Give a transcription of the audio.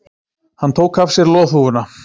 Hann tók af sér loðhúfuna.